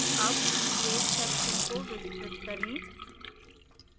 अब grade section को विस्तृत करें